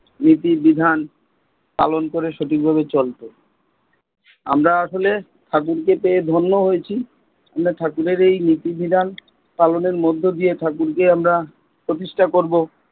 নীতি বিধান পালন করে সঠিক ভাবে চলবো। আমরা আসলে ঠাকুর কে পেয়ে ধন্য হয়েছি। আমরা ঠাকুরের এই নীতি বিধান পালনের মধ্যে দিয়ে ঠাকুরকে প্রতিষ্ঠা করবো।